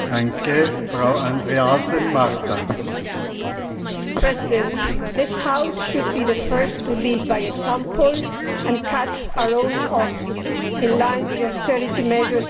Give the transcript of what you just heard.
Mr President, this House should be the first to lead by example and cut our own costs in line with the austerity measures being imposed around Europe.